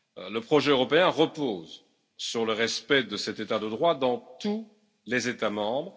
Le projet européen repose sur le respect de cet état de droit dans tous les États membres.